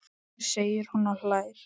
segir hún og hlær.